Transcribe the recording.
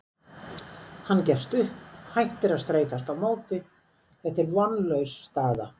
Hann gefst upp, hættir að streitast á móti, þetta er vonlaus staða.